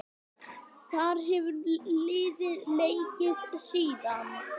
Þar hefur liðið leikið síðan.